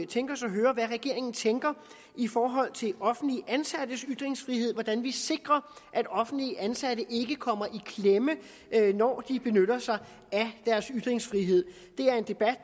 tænke os at høre hvad regeringen tænker i forhold til offentligt ansattes ytringsfrihed hvordan vi sikrer at offentligt ansatte ikke kommer i klemme når de benytter sig af deres ytringsfrihed det er en debat